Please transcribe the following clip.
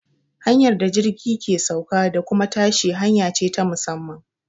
Hanyar da jirgi ke sauka da kuma tashi hanya ce ta musamman.